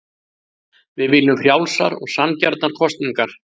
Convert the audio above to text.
Við viljum frjálsar og sanngjarnar kosningar